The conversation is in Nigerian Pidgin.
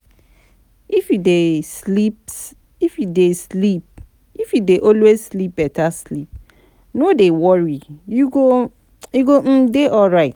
If you dey always sleep beta sleep no dey worry, you go um dey alright